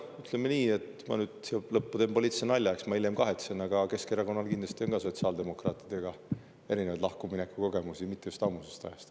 Ütleme nii, et ma nüüd lõppu teen poliitilise nalja, eks ma hiljem kahetsen, aga ütlen siiski, et ka Keskerakonnal on erinevaid sotsiaaldemokraatidest lahkumineku kogemusi mitte just ammusest ajast.